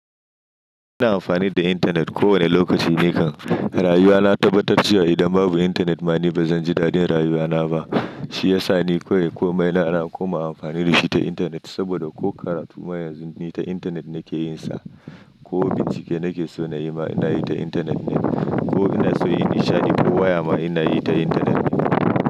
Ina amfani da intanet ko wane lokaci nikan rayuwa. Na tabbatar cewa idan babu intanet ma ni bazan ji daɗin rayuwana ba. Shi yasa ni kawai komai na ana koma amfani da shi ta intanet. Saboda ko karatu ma yanzu ni ta intanet nake yin sa, ko bincike nake so na yi ma ina yi ta intanet ne, ko ina so in nishaɗi ko waya ma ina yi ta intanet ne.